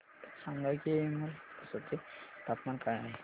सांगा की हेमलकसा चे तापमान काय आहे